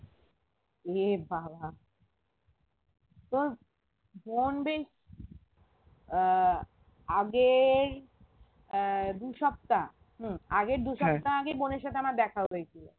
এ বাবা তোর বোন আহ আগের আহ দু সপ্তহা হম আগের দু সপ্তহা আগে বোনের সাথে আমার দেখা হয়েছিল